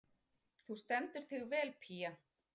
Þú stendur þig vel, Pía!